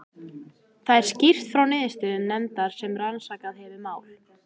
Þar er skýrt frá niðurstöðum nefndar sem rannsakað hefur mál